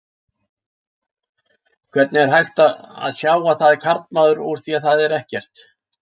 Hvernig er hægt að sjá að það er karlmaður úr því að það er ekkert?